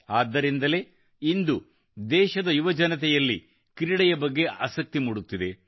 ಆದ್ದರಿಂದಲೇ ಇಂದು ದೇಶದ ಯುವಜನತೆಯಲ್ಲಿ ಕ್ರೀಡೆಯ ಬಗ್ಗೆ ಆಸಕ್ತಿ ಮೂಡುತ್ತಿದೆ